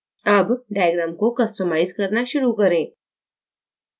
अब diagram को customise करना शुरू करें